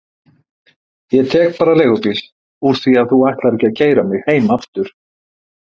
Ég tek bara leigubíl úr því að þú ætlar ekki að keyra mig heim aftur.